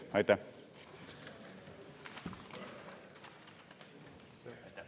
Aitäh!